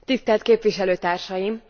Tisztelt Képviselőtársaim!